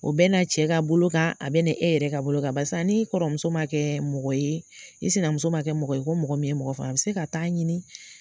O bɛ na cɛ ka bolo kan a bɛ na e yɛrɛ ka bolo kan barisa ni e kɔrɔ muso man kɛ mɔgɔ ye i sina muso man kɛ mɔgɔ ye ko mɔgɔ min bɛ mɔgɔ faamu a bɛ se ka taa ɲini